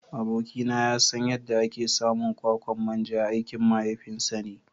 Abokina ya san yadda ake samun kwakwan manja aikin mahaifinsa ne.